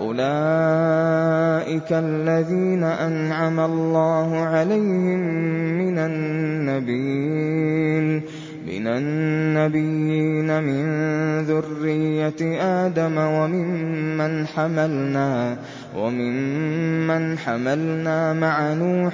أُولَٰئِكَ الَّذِينَ أَنْعَمَ اللَّهُ عَلَيْهِم مِّنَ النَّبِيِّينَ مِن ذُرِّيَّةِ آدَمَ وَمِمَّنْ حَمَلْنَا مَعَ نُوحٍ